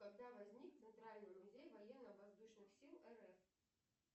когда возник центральный музей военно воздушных сил рф